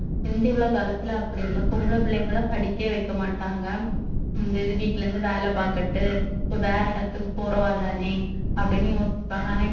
முந்தி உள்ள காலத்துல அப்படி இல்ல பொம்பள புள்ளைங்கள படிக்கவே வைக்க மாட்டாங்க இந்த இது வீட்ல இருந்து வேலை பாக்கட்டு இப்ப வேற இடத்துக்கு போறவா தானே அப்படீன்னு யோசிப்பாங்க ஆனா